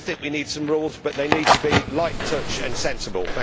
I think we need some rules, but they need to be light touch and sensible.